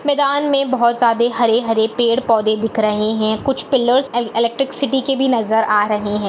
मैदान में बहोत ज्यादे हरे-हरे पेड़-पौधे दिख रहे है कुछ पिल्लेर्स अन इलेक्ट्रिसिटी के भी नजर आ रहे हैं।